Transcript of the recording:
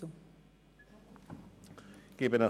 Kommissionspräsident der FiKo.